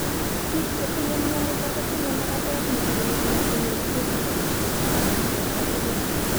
Biik chetinye myonitok kosiche magatet nebirir netinye pustules chechang' en borto tugul